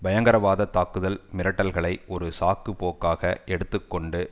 பயங்கரவாத தாக்குதல் மிரட்டல்களை ஒரு சாக்குபோக்காக எடுத்து கொண்டு